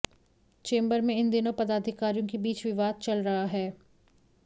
chamber में इन दिनों पदाधिकारियों के बीच विवाद चल रहा है